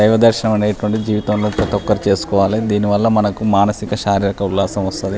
దైవ దర్శనం అనేటువంటిది జీవితం లో ప్రతి ఒక్కరూ చేసుకోవాలి దీని వల్ల మనకు మానసిక శారీరక ఉల్లాసం వస్తది.